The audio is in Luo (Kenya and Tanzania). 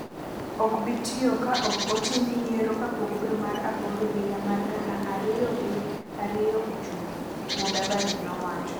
ok bi tiyo ka ok otim yiero kapok dwe mar aboro higa mar gana ariyo gi ariyo ochopo,” Mudavadi nowacho.